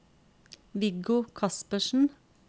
Viggo Kaspersen